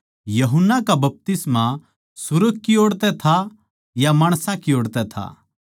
यूहन्ना का बपतिस्मा सुर्ग की ओड़ था या माणसां की ओड़ तै था